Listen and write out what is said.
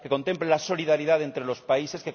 que contemple la solidaridad entre los países